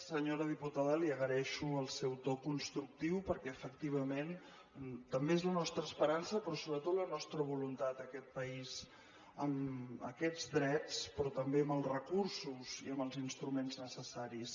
senyora diputada li agraeixo el seu to constructiu perquè efectivament també és la nostra esperança però sobretot la nostra voluntat aquest país amb aquests drets però també amb els recursos i amb els instruments necessaris